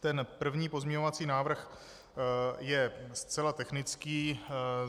Ten první pozměňovací návrh je zcela technický.